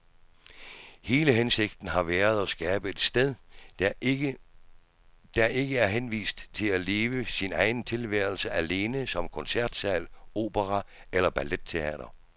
Hele hensigten har været at skabe et sted, der ikke er henvist til at leve sin egen tilværelse alene som koncertsal, opera eller balletteater.